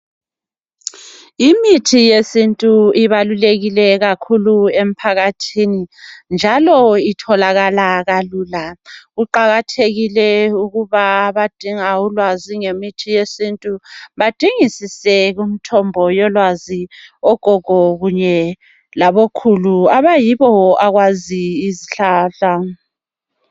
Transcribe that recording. Imithi yesintu ibalulekile kakhulu empakathini, njalo itholakala kalula, kuqakathekile ukuba abadinga ulwazi ngemithi yesintu, badingisise kumthombo yolwazi, ogogo kunye labokhulu, okuyibo abazi izihlahla.